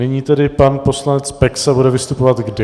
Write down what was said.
Nyní tedy pan poslanec Peksa bude vystupovat kdy?